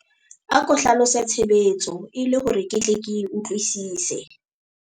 ako hlalose tshebetso e le hore ke tle ke e utlwwisise